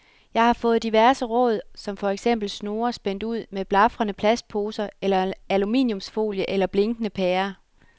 Jeg har fået diverse råd som for eksempel snore spændt ud med blafrende plastposer eller aluminiumsfolie eller blinkende pærer.